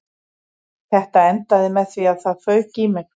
Þetta endaði með því að það fauk í mig